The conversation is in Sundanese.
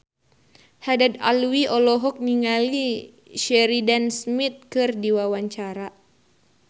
Haddad Alwi olohok ningali Sheridan Smith keur diwawancara